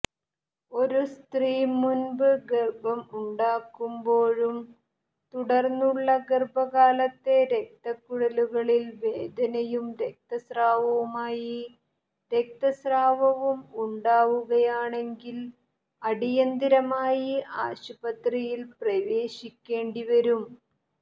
ഒരു സ്ത്രീ മുൻപ് ഗർഭം ഉണ്ടാക്കുമ്പോഴും തുടർന്നുള്ള ഗർഭകാലത്തെ രക്തക്കുഴലുകളിൽ വേദനയും രക്തസ്രാവവുമായി രക്തസ്രാവവും ഉണ്ടാവുകയാണെങ്കിൽ അടിയന്തിരമായി ആശുപത്രിയിൽ പ്രവേശിക്കേണ്ടിവരും